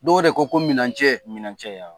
Dɔw de ko ko minɛncɛ, minɛncɛ yan.